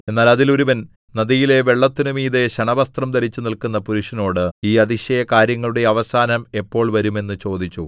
എന്നാൽ അതിൽ ഒരുവൻ നദിയിലെ വെള്ളത്തിന്മീതെ ശണവസ്ത്രം ധരിച്ച് നില്ക്കുന്ന പുരുഷനോട് ഈ അതിശയകാര്യങ്ങളുടെ അവസാനം എപ്പോൾ വരും എന്ന് ചോദിച്ചു